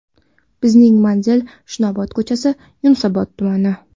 Bizning manzil: Chinobod ko‘chasi, Yunusobod tumani.